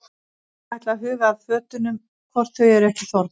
Ég ætla að huga að fötunum hvort þau eru ekki þornuð.